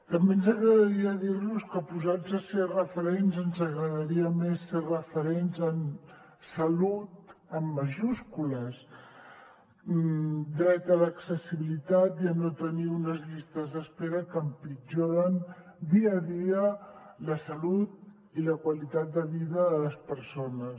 també ens agradaria dir los que posats a ser referents ens agradaria més ser referents en salut amb majúscules dret a l’accessibilitat i a no tenir unes llistes d’espera que empitjoren dia a dia la salut i la qualitat de vida de les persones